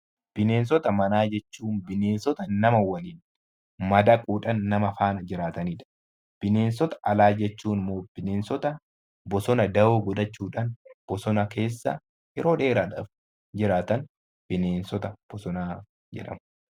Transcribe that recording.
Bineensota manaa jechuun bineensota nama waliin madaquudhaan nama faana jiraataniidha. Bineensota alaa jechuun immoo bineensota bosona da'oo godhachuudhaan bosona keessa yeroo dheeraaf jiraatan bineensota bosonaa jedhamu.